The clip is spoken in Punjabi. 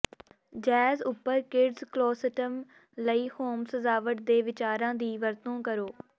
ਜੈਜ਼ ਉੱਪਰ ਕਿਡਜ਼ ਕਲੋਸੈਟਸ ਲਈ ਹੋਮ ਸਜਾਵਟ ਦੇ ਵਿਚਾਰਾਂ ਦੀ ਵਰਤੋਂ ਕਰੋ